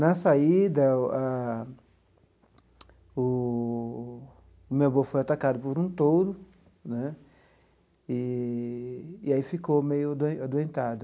Na saída o ah, o meu avô foi atacado por um touro né, e e aí ficou meio ado adoentado.